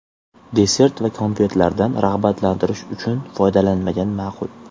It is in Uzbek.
Desert va konfetlardan rag‘batlantirish uchun foydalanmagan ma’qul.